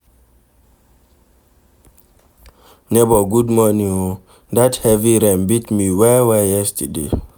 Nebor good morning o, dat heavy rain beat me well-well yesterday.